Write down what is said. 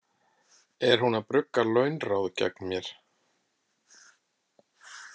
Er hún að brugga launráð gegn mér?